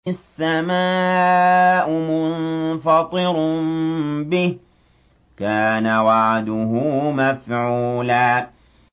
السَّمَاءُ مُنفَطِرٌ بِهِ ۚ كَانَ وَعْدُهُ مَفْعُولًا